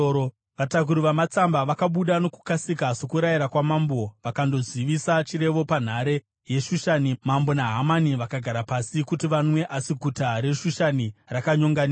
Vatakuri vamatsamba vakabuda nokukasika sokurayira kwamambo, vakandozivisa chirevo panhare yeShushani. Mambo naHamani vakagara pasi kuti vanwe, asi guta reShushani rakanyonganiswa.